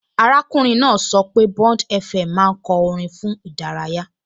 Arákùnrin náà sọ pé BondFM máa ń kọ orin fún ìdárayá